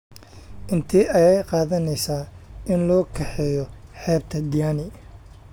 intee ayay qaadanaysaa in loo kaxeeyo xeebta diani